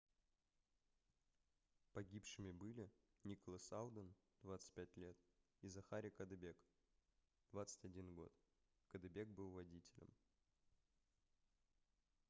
погибшими были николас алден 25 лет и захари каддебэк 21 год каддебэк был водителем